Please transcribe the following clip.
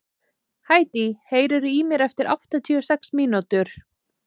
Hædý, heyrðu í mér eftir áttatíu og sex mínútur.